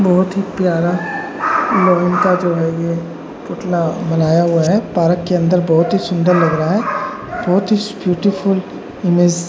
बोहोत ही प्यारा मार्बल का जो है ये पुतला बनाया गया है। पार्क के अंदर बोहोत ही सुन्दर लग रहा है। बोहोत ही ब्यूटीफूल प्लस --